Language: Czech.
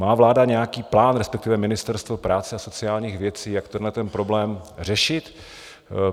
Má vláda nějaký plán, respektive Ministerstvo práce a sociálních věcí, jak tenhle problém řešit?